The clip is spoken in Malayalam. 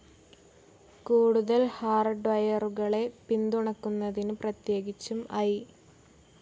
കൂടുതൽ ഹാർഡ്വെയറുകളെ പിന്തുണക്കുന്നതിന്, പ്രത്യേകിച്ചും ഐ.